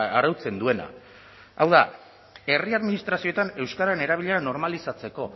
arautzen duena hau da herri administrazioetan euskararen erabilera normalizatzeko